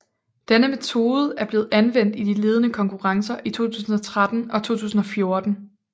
Denne metode er blevet anvendt i de ledende konkurrencer i 2013 og 2014